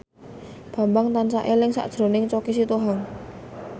Bambang tansah eling sakjroning Choky Sitohang